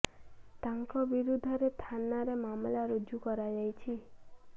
ତାଙ୍କ ବିରୁଦ୍ଧ ରେ ଥାନା ରେ ମାମଲା ରୁଜୁ କରାଯାଇଛି